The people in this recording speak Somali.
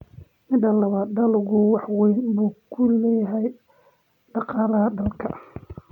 Midda labaad, dalaggu wax weyn buu ku leeyahay dhaqaalaha dalka.